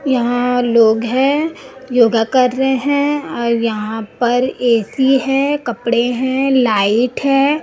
यहां लोग हैं योगा कर रहे हैं और यहां पर ए_सी है कपड़े हैं लाइट है।